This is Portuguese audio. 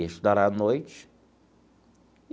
Estudar à noite.